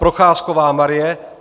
Procházková Marie